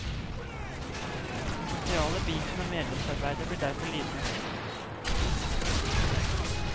Den sosiale biten av medlemsarbeidet blir derfor lidende.